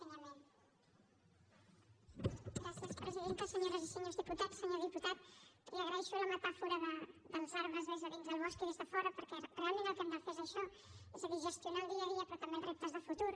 senyores i senyors diputats senyor diputat li agraeixo la metàfora dels arbres des de dins del bosc i des de fora perquè realment el que hem de fer és això és a dir gestionar el dia a dia però també els reptes de futur